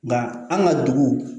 Nga an ka dugu